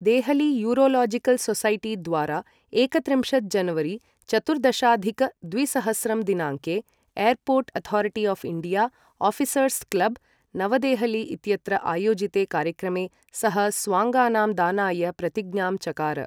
Delhi urological society द्वारा एकत्रिंशत् जनवरी चतुर्दशाधिक द्विसहस्रं दिनाङ्के airport authority of India, officers club, नवदेहली इत्यत्र आयोजिते कार्यक्रमे सः स्वाङ्गानां दानाय प्रतिज्ञां चकार।